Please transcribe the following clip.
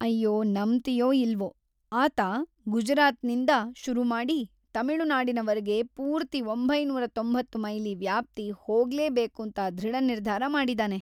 ಅಯ್ಯೋ, ನಂಬ್ತೀಯೋ ಇಲ್ವೋ, ಆತ ಗುಜರಾತ್ನಿಂದ ಶುರುಮಾಡಿ ತಮಿಳು ನಾಡಿನವರ್ಗೆ ಪೂರ್ತಿ ಒಂಬೈನೂರ ತೊಂಬತ್ತು ಮೈಲಿ ವ್ಯಾಪ್ತಿ ಹೋಗ್ಲೇ ಬೇಕೂಂತ ಧೃಡನಿರ್ಧಾರ ಮಾಡಿದಾನೆ.